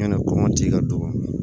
Yani kɔngɔ ti ka don